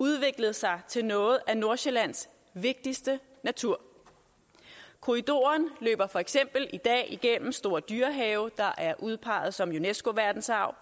udviklet sig til noget af nordsjællands vigtigste natur korridoren løber for eksempel i dag igennem store dyrehave der er udpeget som unesco verdensarv